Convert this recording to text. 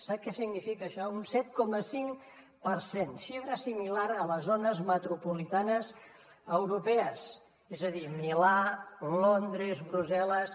sap què significa això un set coma cinc per cent xifra similar a les zones metropolitanes europees és a dir milà londres brussel·les